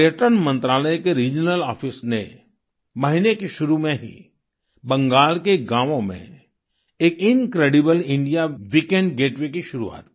पर्यटन मंत्रालय के रिजनल आफिस ने महीने के शुरू में ही बंगाल के गाँवों में एक इनक्रेडिबल इंडिया वीकेंड गेटवे की शुरुआत की